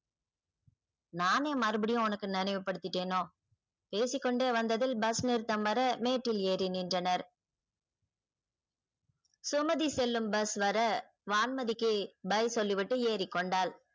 நானே மறுபடியும் உனக்கு நினைவு படுத்திட்டேனோ பேசிக்கொண்டே வந்ததில் bus நிறுத்தம் வர மேட்டில் ஏறி நின்றனர். சுமதி செல்லும் bus வர வான்மதிக்கு bye சொல்லிவிட்டு ஏறிக்கொண்டாள்.